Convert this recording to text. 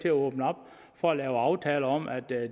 at åbne op for at lave aftaler om at